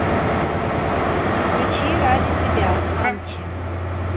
включи ради тебя амчи